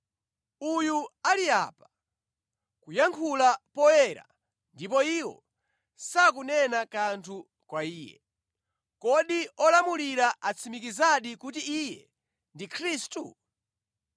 Uyu ali apa, kuyankhula poyera, ndipo iwo sakunena kanthu kwa Iye. Kodi olamulira atsimikizadi kuti Iye ndi Khristu?